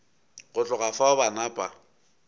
go tloga fao ba napa